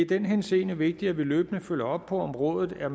den henseende vigtigt at vi løbende følger op på om rådet er